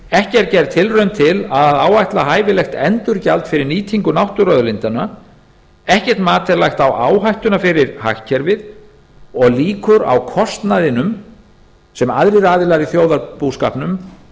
ekki er gerð tilraun til að áætla hæfilegt endurgjald fyrir að nýtingu náttúruauðlindanna ekkert mat er lagt á áhættuna fyrir hagkerfið og líkur á kostnaðinum sem aðrir aðilar í þjóðarbúskapnum